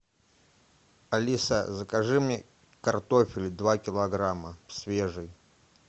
алиса закажи мне картофель два килограмма свежий